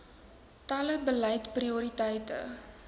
tele beleid prioriteite